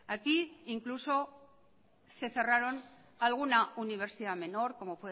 aquí incluso se cerraron alguna universidad menor como